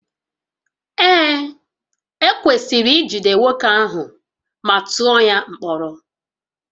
Ee, ekwesịrị ijide nwoke ahụ ma tụọ ya mkpọrọ